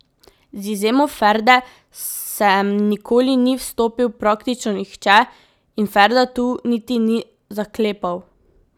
Z izjemo Ferde sem nikoli ni vstopal praktično nihče in Ferda tu niti ni zaklepal.